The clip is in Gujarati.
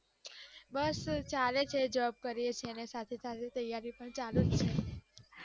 બસ ચાલે છે job કરીએ છીએ એની સાથે સાથે તૈયારી પણ ચાલુજ છે